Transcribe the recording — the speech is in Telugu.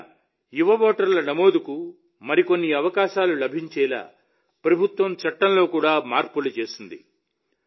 మన యువ ఓటర్ల నమోదుకు మరిన్ని అవకాశాలు లభించేలా ప్రభుత్వం చట్టంలో కూడా మార్పులు చేసింది